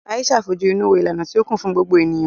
Aisha fojú inú wo ìlànà tí ó kún fún gbogbo ènìyàn.